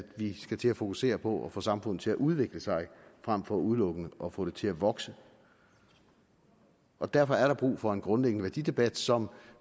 vi skal til at fokusere på at få samfundet til at udvikle sig frem for udelukkende at få det til at vokse derfor er der brug for en grundlæggende værdidebat som